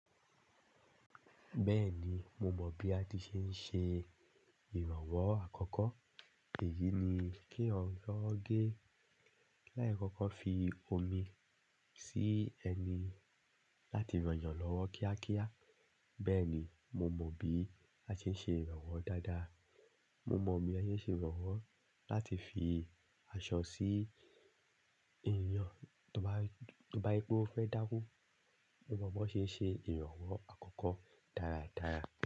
Bẹ́ẹ̀ni, mo mọ̀ bí a ti ṣe ń ṣe ìrànwọ́ àkọ́kọ́. Èyí ni kí eyan yọ gé láì kọ́kọ́ fi omi sí ẹni láti ran yan lọ́wọ́ kíákíá. Bẹ́ẹ̀ni, mo mọ bí a ṣe ń ṣe ìrànwọ́ dáadáa. Mo mọ bí a ṣe ń ṣe ìrànwọ́ láti fi aṣọ sí èèyàn tó bá, tó bá yípo fẹ́ daku. Mo mọ bọ́ ṣe ń ṣe ìrànwọ́ àkọ́kọ́ dáradára.